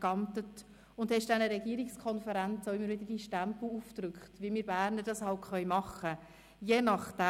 geamtet und hast dieser Regierungskonferenz deinen Stempel aufgedrückt, wie wir Berner es eben machen können.